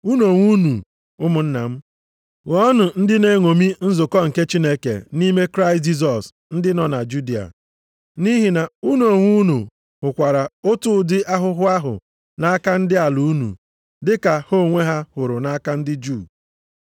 Unu onwe unu, ụmụnna m, ghọọnụ ndị na-eṅomi nzukọ nke Chineke nʼime Kraịst Jisọs, ndị nọ na Judịa. Nʼihi na unu onwe unu hụkwara otu ụdị ahụhụ ahụ nʼaka ndị ala unu, dị ka ha onwe ha hụrụ nʼaka ndị Juu.